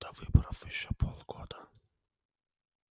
до выборов ещё полгода